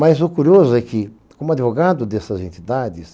Mas o curioso é que, como advogado dessas entidades,